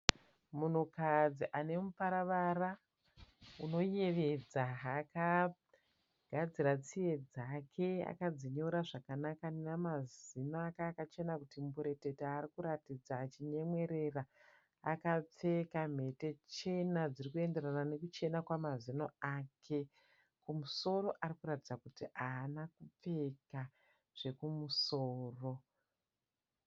Munhukadzi ane muparavara unoyevedza. Akagadzira tsiye dzake akadziyora zvakanaka nemazino ake akachena kuti mburetete ari kuratidza achinyemwerera. Akapeka mhete chena dziri kuenderana nekuchena kwemazino ake. Kumusoro arikutaridza kuti haana kupfeka zvekumusoro.